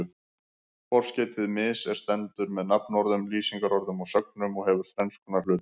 Forskeytið mis- er stendur með nafnorðum, lýsingarorðum og sögnum og hefur þrenns konar hlutverk.